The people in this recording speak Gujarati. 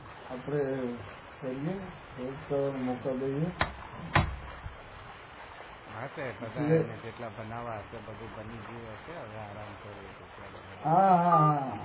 આપડે કરી એ બીજાને મોકો દઈએ હા તો બધાને જેટલા બનાવ હશે એટલા બની ગયું હશે હવે આરામ કરવો છે હા હા હા